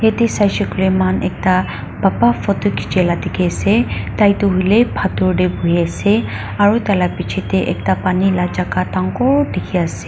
yate saise koile moihan ekta papa photo khichi lah dikhi ase tai tu hoiley pathor teh bohi ase aru tah lah picche teh ekta pani lah jaga dangor dikhi ase.